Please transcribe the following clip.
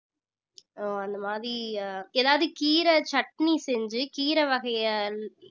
அஹ் அந்த மாதிரி அஹ் ஏதாவது கீரை சட்னி செஞ்சு கீரை வகையை